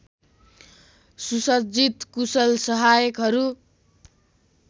सुसज्जित कुशल सहायकहरू